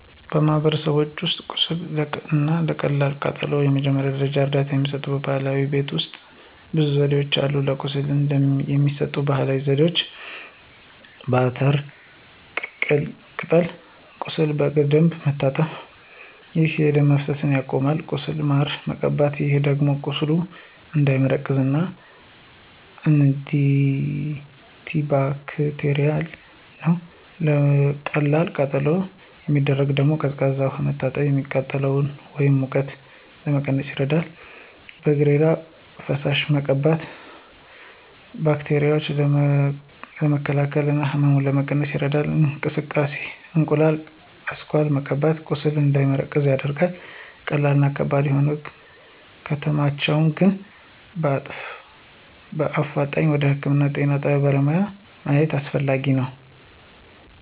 በማህበረሰቦች ውስጥ ቁስል እና ለቀላል ቃጠሎ የመጀመሪያ ደረጃ እርዳታ የሚሰጡ ባህላዊ የቤት ውሰጥ ብዙ ዘዴዎች አሉ። ለቁስል የሚሰጠው ባህላዊ ዜዴ፦ በአተር ቅጠል ቁሱሉን በደንብ መታጠብ፣ ይህ የደም መፈሰሱን ያስቆማል። ቁስሉን ማር መቀባት ይህ ደግሞ ቁስሉ እንዳይመረቅዝ እና አንቲባክቴርል ነው። ለቀላል ቃጠሎ የሚደረገው ደግሞ፦ በቀዝቃዛ ውሃ መታጠብ፤ የሚቃጥለን ወይም ሙቀቱን ለመቀነስ ይረዳል። በእሬት ፈሳሽ መቀባት ባክቴራዎችን ለመከላከል እና ህመሙን ለመቀነስ ይረዳል። የእንቁላሉ አስኳል መቀባት ቁስሉ እንዳይደርቅ ያደርጋል። ቀስሉ ከባድ ሆኖ ከተሰማቸሁ ግን በአፋጣኝ ወደ ህክምና የጤና በለሙያ ማግኝት አሰፈላጊ ነው።